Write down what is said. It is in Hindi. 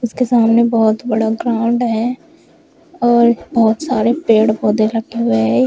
उसके सामने बहुत बड़ा ग्राउंड है और बहुत सारे पेड़ पौधे रखे हुए हैं।